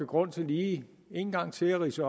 grund til lige en gang til at ridse